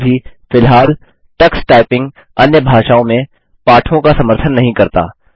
फिर भी फिलहाल टक्स टाइपिंग अन्य भाषाओं में पाठों का समर्थन नहीं करता